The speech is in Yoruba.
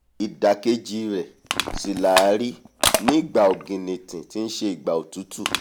ìdàkejì rẹ̀ sì làá rí nígbà ọ̀gìnìntìn tí nṣe ìgbà òtútù